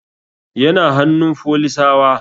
Yana hannun folisawa